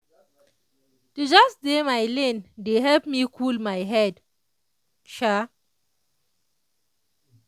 just dey my lane dey help me cool my head [sha]